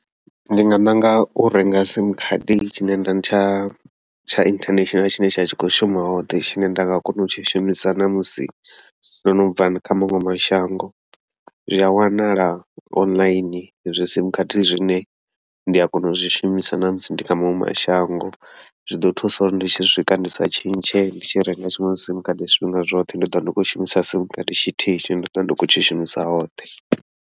Ndi nga ṋanga u renga sim khadi tshine nda tsha tsha international tshine tsha tshi khou shuma hoṱhe, tshine nda nga kona u tshi shumisa namusi ndono bva kha maṅwe mashango zwi a wanala online hezwi zwi sim khadi, zwine ndi a kona u zwi shumisa ṋamusi ndi kha maṅwe mashango. Zwiḓo thusa uri ndi tshi swika ndi sa tshintshe ndi tshi renga zwiṅwe zwi sim khadi zwifhinga zwoṱhe, ndi ḓovha ndi khou shumisa sim khadi tshithihi tshine ndi ḓovha ndi khou tshi shumisa hoṱhe.